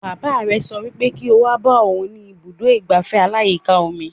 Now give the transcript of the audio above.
Bàbá rẹ̀ sọ wípé kí o wá bá òhun ní ibùdó ìgbafẹ́ aláyíká omi